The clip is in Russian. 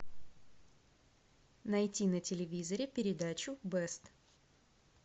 найти на телевизоре передачу бест